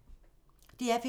DR P3